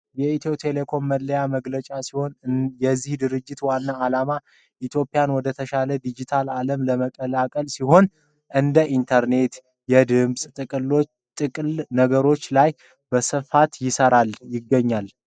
የኢትዮ ቴሌኮም መለያ መገለጫ ሲሆን የዚህ ድርጅት ዋና አላማ ኢትዮጵያን ወደ ተሻለ የዲጂታል ዓለም ለመቀላቀል ሲሆን እንደ ኢንተርኔትና የድምጽ ጥቅል ነገሮች ላይ በስፋት ይሠራል።